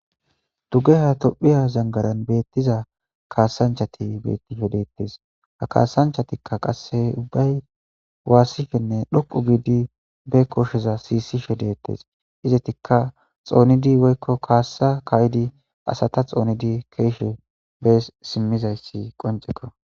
Duge ha tophiya zangaran beettiza kaasanchati bettishe deettes ha kaasanchatikka qasse ubbay waassifhenne dhoqu giidi be kosheza siisisho deettes izetikka xoonidi woykko kaassa kaydi asata xoonidi keeshe bees simmizayssi qonceko.